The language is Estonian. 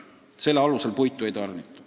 Selle alusel puitu ei tarnita.